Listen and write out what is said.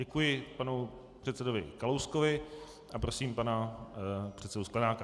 Děkuji panu předsedovi Kalouskovi a prosím pana předsedu Sklenáka.